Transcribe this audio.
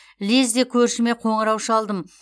лезде көршіме қоңырау шалдым